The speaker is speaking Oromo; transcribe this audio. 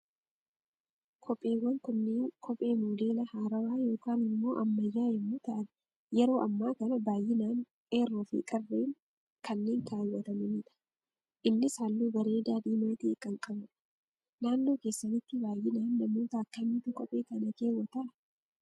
Kopheewwan kunneen, kophee modeela haarawaa yookaan immoo ammayyaa yemmuu ta'an, yeroo ammaa kana baayyinaan qeerroo fi qarreen kanneen keewwatamanidha. Innis halluu bareedaa diimaa ta'e kan qabudha. Naannoo keessanitti baayyinaan namoota akkamiitu kophee kana keewwataa?